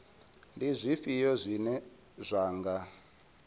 ndi zwifhio zwine zwa nga